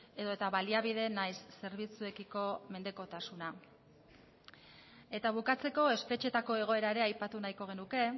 edota baliabide nahiz zerbitzuekiko mendekotasuna eta bukatzeko espetxeetako egoera ere aipatu nahiko genuke